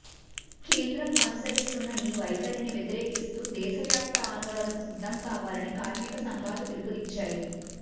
కేంద్రం అనుసరిస్తున్న ఈ వైఖరిని వ్యతిరేకిస్తూ దేశవ్యాప్త ఆందోళనకు సిద్ధం కావాలని కార్మిక సంఘాలు పిలుపునిచ్చాయి